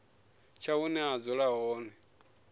tsha hune vha dzula hone